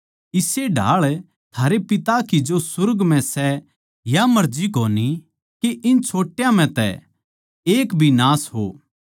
इस्से ढाळ थारे पिता की जो सुर्ग म्ह सै या मर्जी कोनी के इन छोट्यां म्ह तै एक भी नाश हो